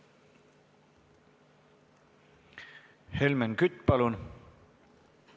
Helmen Kütt, palun!